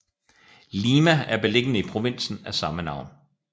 Lima er beliggende i provinsen af samme navn